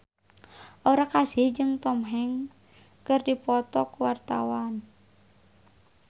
Aura Kasih jeung Tom Hanks keur dipoto ku wartawan